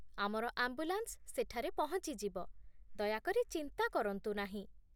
ଆମର ଆମ୍ବୁଲାନ୍ସ ସେଠାରେ ପହଞ୍ଚି ଯିବ, ଦୟାକରି ଚିନ୍ତା କରନ୍ତୁ ନାହିଁ।